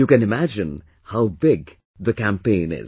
You can imagine how big the campaign is